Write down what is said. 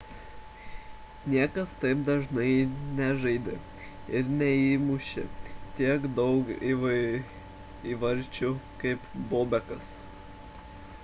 niekas taip dažnai nežaidė ir neįmūšė tiek daug įvarčių kaip bobekas